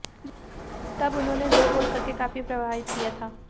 तब उन्होंने दो गोल करके काफी प्रभावित किया था